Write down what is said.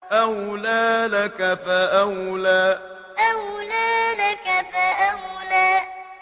أَوْلَىٰ لَكَ فَأَوْلَىٰ أَوْلَىٰ لَكَ فَأَوْلَىٰ